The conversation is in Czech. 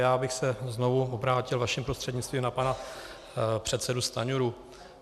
Já bych se znovu obrátil vaším prostřednictvím na pana předsedu Stanjuru.